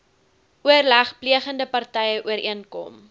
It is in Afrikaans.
oorlegplegende partye ooreenkom